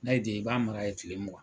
Na y'i diya i b'a mara yen tile mugan